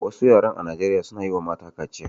Wasu yaran a Nijeriya suna yiwa mata kaciya